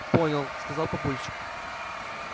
понял сказал папульчик